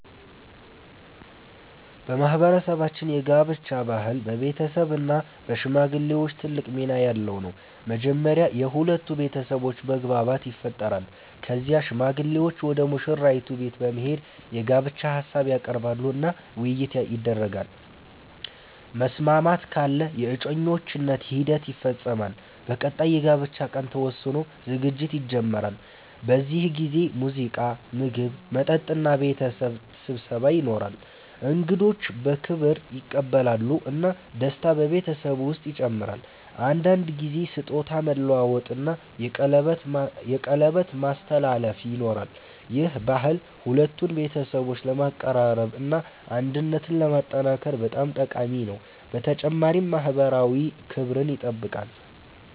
በማህበረሰባችን የጋብቻ ባህል በቤተሰብ እና በሽማግሌዎች ትልቅ ሚና ያለው ነው። መጀመሪያ የሁለቱ ቤተሰቦች መግባባት ይፈጠራል። ከዚያ ሽማግሌዎች ወደ ሙሽራይቱ ቤት በመሄድ የጋብቻ ሀሳብ ያቀርባሉ እና ውይይት ይደረጋል። መስማማት ካለ የእጮኝነት ሂደት ይፈጸማል። በቀጣይ የጋብቻ ቀን ተወስኖ ዝግጅት ይጀመራል። በዚህ ጊዜ ሙዚቃ፣ ምግብ፣ መጠጥ እና ቤተሰብ ስብሰባ ይኖራል። እንግዶች በክብር ይቀበላሉ እና ደስታ በቤተሰቡ ውስጥ ይጨምራል። አንዳንድ ጊዜ ስጦታ መለዋወጥ እና የቀለበት ማስተላለፍ ይኖራል። ይህ ባህል ሁለቱን ቤተሰቦች ለማቀራረብ እና አንድነትን ለማጠናከር በጣም ጠቃሚ ነው፣ በተጨማሪም ማህበራዊ ክብርን ይጠብቃል።